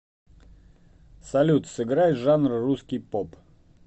салют сыграй жанр русский поп